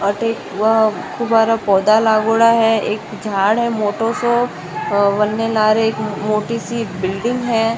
अठे वो दुबारा पौधा लगोड़ा है एक झाड़ है मोटो सो बनने लगो एक मोटी सी बिल्डिंग है।